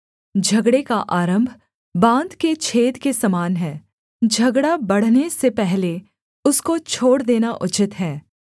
झगड़े का आरम्भ बाँध के छेद के समान है झगड़ा बढ़ने से पहले उसको छोड़ देना उचित है